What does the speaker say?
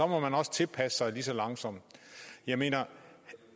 må man også tilpasse sig lige så langsomt jeg mener